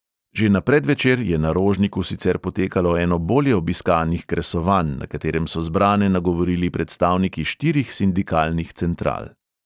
Že na predvečer je na rožniku sicer potekalo eno bolje obiskanih kresovanj, na katerem so zbrane nagovorili predstavniki štirih sindikalnih central.